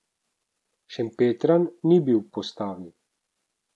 Šempetran ni bil v postavi.